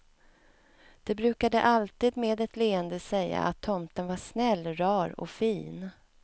De brukade alltid med ett leende säga att tomten var snäll, rar och fin.